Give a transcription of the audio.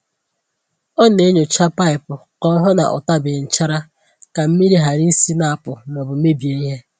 Ọ na-enyòcha paịpụ ka o hụ ná ọ tabeghi nchara ka mmiri ghara isi na-apụ̀ ma ọ bụ mebie ihe.